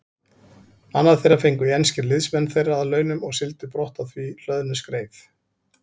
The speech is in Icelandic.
Annað þeirra fengu enskir liðsmenn þeirra að launum og sigldu brott á því hlöðnu skreið.